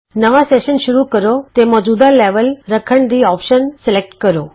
ਨਵਾਂ ਸੈਸ਼ਨ ਸ਼ੁਰੂ ਕਰੋ ਤੇ ਮੌਜੂਦਾ ਲੈਵਲ ਰੱਖਣ ਦੀ ਆਪਸ਼ਨ ਸਲੈਕਟ ਕਰੋ